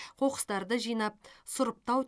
қоқыстарды жинап сұрыптау